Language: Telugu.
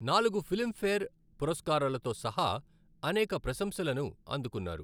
నాలుగు ఫిల్మ్ఫేర్ పురస్కారాలతో సహా అనేక ప్రశంసలను అందుకున్నారు.